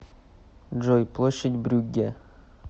джой площадь брюгге